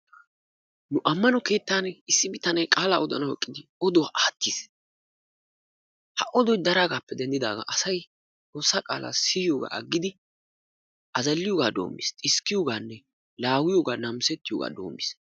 Nu ammano keetan issi bitane qaala odanawu eqqidi oduwa attiis. Ha odoy daragappe denddidagan asay xoossa qaala siyiyoga aggidi azaalliyoga dommiis, xiskkiyogane laawiyoga naamisetiyoga dommiis.